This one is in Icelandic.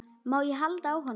Má ég halda á honum?